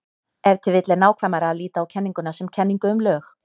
Ef til vill er nákvæmara að líta á kenninguna sem kenningu um lög.